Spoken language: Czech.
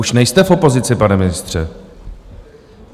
Už nejste v opozici, pane ministře.